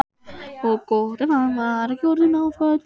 Og gott ef hann var ekki orðinn náfölur.